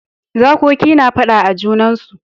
Zakoki na fada a junansu.